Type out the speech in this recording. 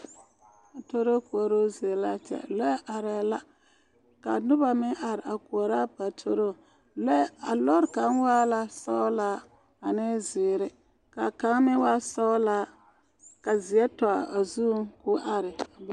Paatoroo koɔruu zie laa kyɛ lɔɛ arɛɛ la ka nobɔ meŋ are a koɔrɔ a paatoroo lɔɛ a lɔɔre kaŋ waa la sɔglaa ane zeere ka kaŋ meŋ waa sɔglaa ka zeɛ tɔ a zuŋ koo are a be.